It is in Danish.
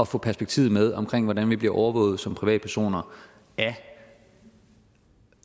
få perspektivet med om hvordan vi bliver overvåget som privatpersoner af